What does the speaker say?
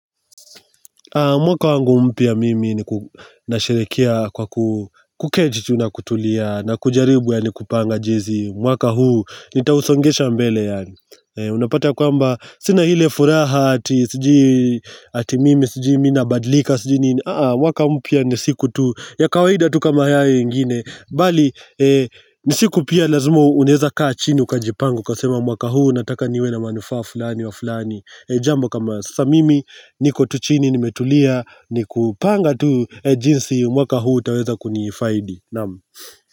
Mwaka wangu mpya mimi ni nasherekea kwa kuketi tu na kutulia na kujaribu yani kupanga jinzi. Mwaka huu nitausongesha mbele. Unapata kwamba sina ile furaha ati mimi, ati mimi, ati mimi, ati mimi, ati mimi, ati mimi, ati mimi, ati mimi, ati mimi. Mwaka mpya nisiku tu ya kawaida tu kama haya ingine bali ni siku pia lazima unaeza kaa chini ukajipanga ukasema mwaka huu nataka niwe na manufaa fulani wa fulani jambo kama sasa mimi niko tu chini nimetulia ni kupanga tu jinsi mwaka huu utaweza kunifaidi naamu.